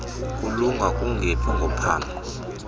kulunga kungephi kophambo